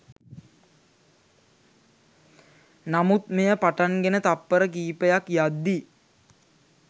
නමුත් මෙය පටන්ගෙන තප්පර කිපයක් යද්දි